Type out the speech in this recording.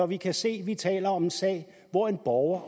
vi kan se at vi taler om en sag hvor en borger